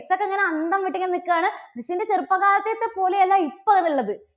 miss ഒക്കെ ഇങ്ങനെ അന്തംവിട്ട് ഇങ്ങനെ നിൽക്കുകയാണ്. miss ന്റെ ചെറുപ്പകാലത്തെത്തെ പോലെയല്ല ഇപ്പോ അത് ഉള്ളത്.